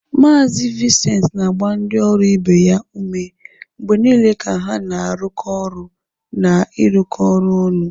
Mazị Vincent na-agba ndị ọrụ ibe ya ume mgbe niile ka ha na-arụkọ ọrụ na ịrụkọ ọrụ ọnụ.